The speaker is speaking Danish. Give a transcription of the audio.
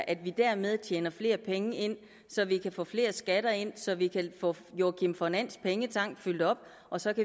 at vi dermed tjener flere penge så vi kan få flere skatter ind så vi kan få joakim von ands pengetank fyldt op og så